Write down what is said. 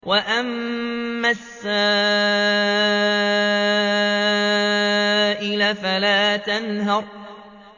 وَأَمَّا السَّائِلَ فَلَا تَنْهَرْ